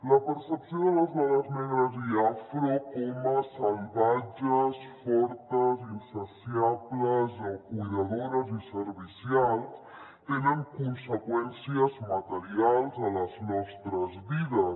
la percepció de les dones negres i afro com a salvatges fortes insaciables o cuidadores i servicials té conseqüències materials a les nostres vides